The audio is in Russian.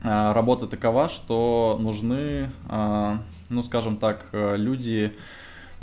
работа такова что нужны ну скажем так люди